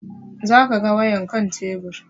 Za ka ga wayan kan tebur